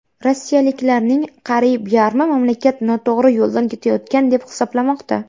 Rossiyaliklarning qariyb yarmi mamlakat noto‘g‘ri yo‘ldan ketayotgan deb hisoblamoqda.